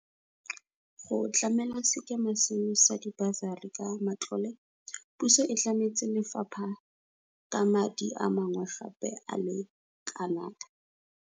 Go tlamela sekema seno sa dibasari ka matlole, puso e tlametse lefapha ka madi a mangwe gape a le kanaka.